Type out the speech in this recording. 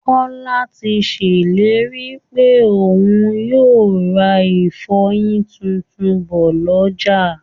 Kọ́lá ti ṣèlérí pé òun yóò ra ìfọyin tuntun bọ̀ lọ́jà